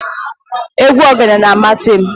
Egwu ogene na-amasị m.